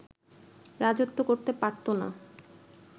রাজত্ব করতে পারতো না